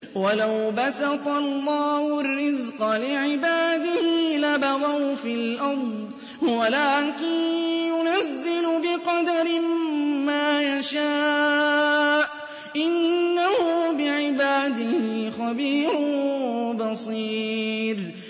۞ وَلَوْ بَسَطَ اللَّهُ الرِّزْقَ لِعِبَادِهِ لَبَغَوْا فِي الْأَرْضِ وَلَٰكِن يُنَزِّلُ بِقَدَرٍ مَّا يَشَاءُ ۚ إِنَّهُ بِعِبَادِهِ خَبِيرٌ بَصِيرٌ